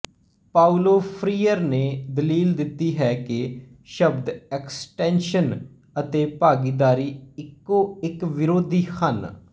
Paulo Freire ਨੇ ਦਲੀਲ ਦਿੱਤੀ ਹੈ ਕਿ ਸ਼ਬਦ ਐਕਸਟੈਂਸ਼ਨ ਅਤੇ ਭਾਗੀਦਾਰੀ ਇਕੋ ਇੱਕ ਵਿਰੋਧੀ ਹਨ